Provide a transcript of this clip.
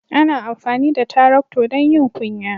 Ana amfani da Taractor don yin ƙunya.